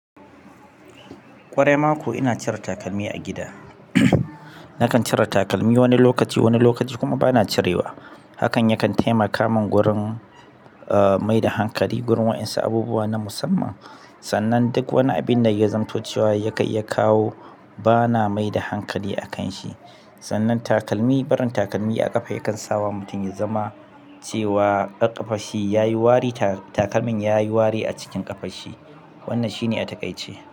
Kwarai mako ina cire takalmi a gida. Nakan cire takalmi wani lokaci, wani lokaci kuma bana cirewa. Hakan yakan taimaka min wurin, ah, mai da hankali gurin waʼyansu abubuwa na musamman. Sannan duk wani abin da ya zamto cewa ya kai ya kawo bana mai da hankali a kan shi. Sannan takalmi, barin takalmi a ƙafa yakan sawa mutum ya zama cuwa ƙafarshi yayi wari takalmin yayi wari a ƙafarshi wannan shine a taƙaice.